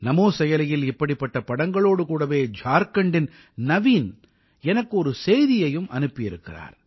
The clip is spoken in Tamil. நமோ செயலியில் இப்படிப்பட்ட படங்களோடு கூடவே ஜார்க்கண்டின் நவீன் எனக்கு ஒரு செய்தியையும் அனுப்பியிருக்கிறார்